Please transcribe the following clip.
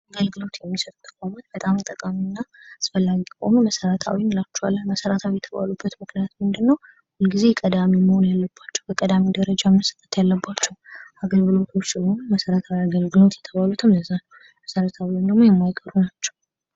መሰረታዊ አገልግሎት የሚሰጡ ተቋማት በጣም ጠቃሚና አስፈላጊ ከሆኑ መሰረታዊ እንላቸዋል። ለመሠረታዊ የተባሉት ምክንያቱ ምንድነው ሁልጊዜ ቀዳሚ መሆን ያለባቸው በቀዳሚ ደረጃ መስጠት ያለባቸው አገልግሎት ስለሆኑ መሰረታዊ አገልግሎት የተባሉትን ለዛ ነው መሰረታዊ ወይም የማይቀሩ የማይቀሩም ናቸው።